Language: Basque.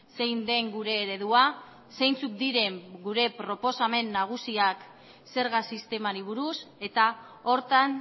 zein den gure eredua zeintzuk diren gure proposamen nagusiak zerga sistemari buruz eta horretan